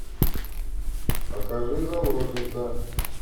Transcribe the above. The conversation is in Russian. покажи заложница